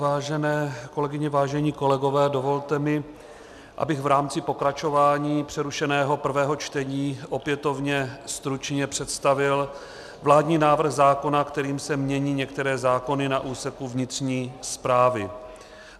Vážené kolegyně, vážení kolegové, dovolte mi, abych v rámci pokračování přerušeného prvého čtení opětovně stručně představil vládní návrh zákona, kterým se mění některé zákony na úseku vnitřní správy.